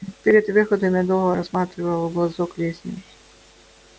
перед выходом я долго рассматривал в глазок лестницу